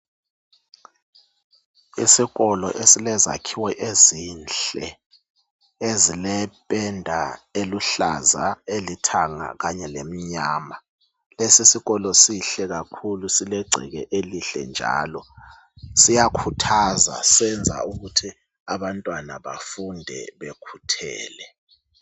Isikolo esilezakhiwo ezinhle ,ezliphenda eluhlaza ,elithanga kanye lemnyama. Lesi sikolo sihle kakhulu silegceke elihle njalo ,siyakhuthaza .Senza ukuthi abantwana bafunde bekhuthele.